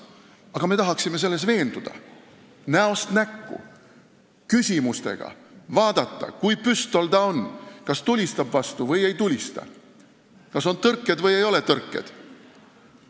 Aga me tahaksime selles näost näkku veenduda ja küsimustega vaadata, kui püstol ta on – kas ta tulistab vastu või ei tulista, kas on tõrkeid või ei ole tõrkeid.